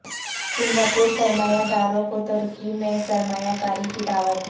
سنگاپوری سرمایہ داروں کو ترکی میں سرمایہ کاری کی دعوت